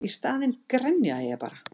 Í staðinn grenjaði ég bara.